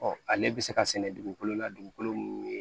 ale bɛ se ka sɛnɛ dugukolo la dugukolo min